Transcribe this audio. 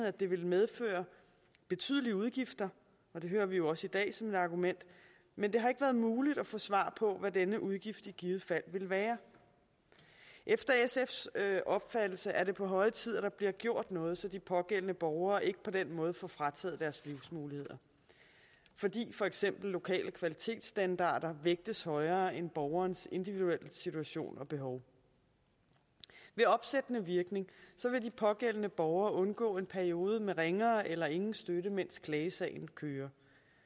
at det ville medføre betydelige udgifter og det hører vi jo også i dag som et argument men det har ikke været muligt at få svar på hvad denne udgift i givet fald ville være efter sfs opfattelse er det på høje tid at der bliver gjort noget så de pågældende borgere ikke på den måde får frataget deres livsmuligheder fordi for eksempel lokale kvalitetsstandarder vægtes højere end borgerens individuelle situation og behov ved opsættende virkning vil de pågældende borgere undgå en periode med ringere eller ingen støtte mens klagesagen kører